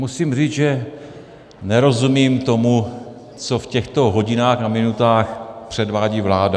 Musím říct, že nerozumím tomu, co v těchto hodinách a minutách předvádí vláda.